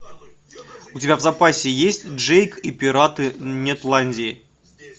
у тебя в запасе есть джейк и пираты нетландии